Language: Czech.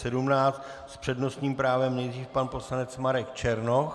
S přednostním právem nejdřív pan poslanec Marek Černoch.